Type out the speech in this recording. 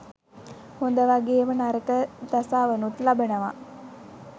හොඳ වගේම නරක දසාවනුත් ලබනවා.